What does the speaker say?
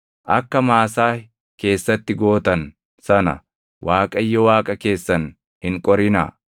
Akka Maasaah keessatti gootan sana Waaqayyo Waaqa keessan hin qorinaa.